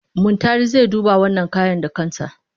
Muntari zai duba wannan kaya da kansa.